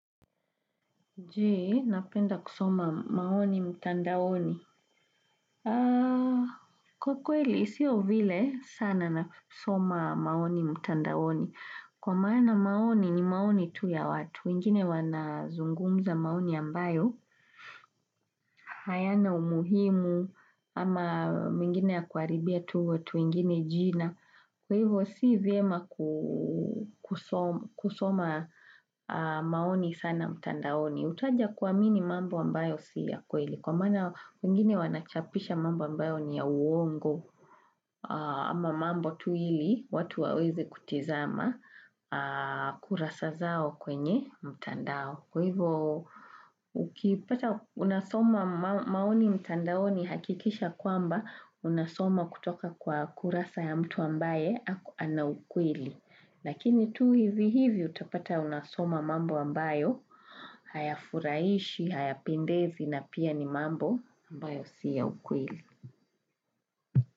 Je, napenda kusoma maoni mtandaoni. Kwa kweli, sio vile sana nasoma maoni mtandaoni. Kwa maana maoni ni maoni tu ya watu. Wengine wanazungumza maoni ambayo. Hayana umuhimu ama mingine ya kuharibia tu watu wengine jina. Kwa hivyo, si vyema kusoma maoni sana mtandaoni. Utaja kuamini mambo ambayo si ya kweli kwa maana wengine wanachapisha mambo ambayo ni ya uongo ama mambo tu ili watu waweze kutizama kurasa zao kwenye mtandao. Kwa hivyo, ukipata unasoma maoni mtandaoni hakikisha kwamba, unasoma kutoka kwa kurasa ya mtu ambaye ana ukweli. Lakini tu hivi hivi utapata unasoma mambo ambayo hayafurahishi, hayapendezi na pia ni mambo ambayo si ya ukweli.